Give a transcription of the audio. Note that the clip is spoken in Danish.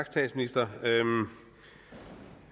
statsministeren